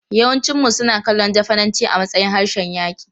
Yawancinmu suna kallon Jafananci a matsayin harshen yaƙi.